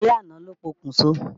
Alẹ́ àná ló pokùn so.